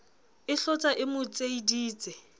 e hlotsa e mo tseiditse